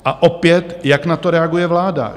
A opět, jak na to reaguje vláda?